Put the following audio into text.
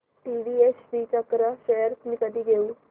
TVS Srichakra shares मी कधी घेऊ